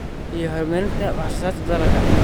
iyo horumarinta wax soo saarka dalagga.